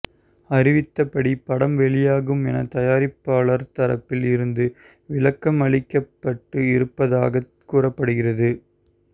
அறிவித்த படி படம் வெளியாகும் என தயாரிப்பாளர் தரப்பில் இருந்து விளக்கம் அளிக்கப்பட்டு இருப்பதாகவும் கூறப்படுகிறது